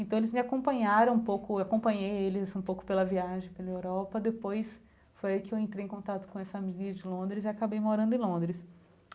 Então eles me acompanharam um pouco, acompanhei eles um pouco pela viagem, pela Europa, depois foi aí que eu entrei em contato com essa amiga de Londres e acabei morando em Londres.